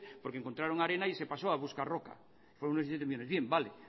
porque encontraron arena y se pasó a buscar roca fueron unos diecisiete millónes bien vale